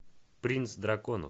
принц драконов